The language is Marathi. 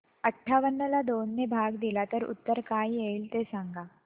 अठावन्न ला दोन ने भाग दिला तर उत्तर काय येईल ते सांगा